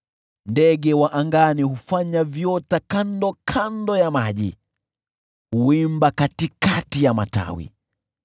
Ndege wa angani hufanya viota kando ya maji, huimba katikati ya matawi.